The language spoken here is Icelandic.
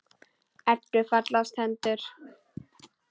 Eddu fallast hendur.